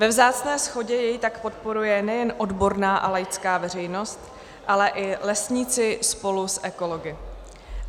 Ve vzácné shodě jej tak podporuje nejen odborná a laická veřejnost, ale i lesníci spolu s ekology.